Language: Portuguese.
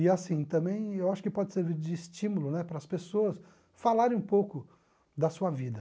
E assim, também eu acho que pode servir de estímulo né para as pessoas falarem um pouco da sua vida.